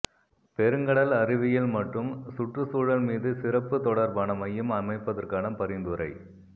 பெருங்கடல் அறிவியல் மற்றும் சுற்றுச்சூழல் மீது சிறப்பு தொடர்பான மையம் அமைப்பதற்கான பரிந்துரை